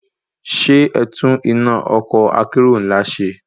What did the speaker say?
Ṣé ẹtún iná ọkọ̀ akérò ńlá náà ṣe?